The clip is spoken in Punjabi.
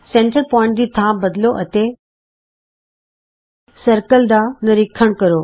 ਕੇਂਦਰ ਬਿੰਦੂ ਦੀ ਥਾਂ ਬਦਲੋ ਅਤੇ ਘੋਲ ਦਾਇਰਿਆਂ ਦਾ ਨਿਰੀਖਣ ਕਰੋ